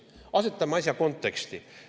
Asetame asja konteksti.